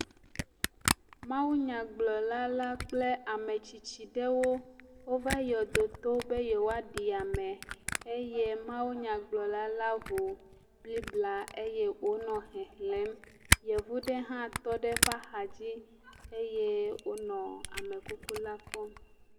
Mawunyagblɔla la kple ametsitsi ɖewo wova yɔdoto be yewoaɖi ame eye mawunyagblɔla la ŋu Bibla eye wònɔ xexlẽm. Yevu ɖe hã tɔ ɖe eƒe axadzi eye wònɔ amekukula kpɔm.